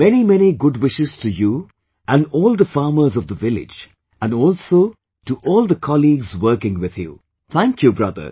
Many many good wishes to you and all the farmers of the village and also to all the colleagues working with you, thank you brother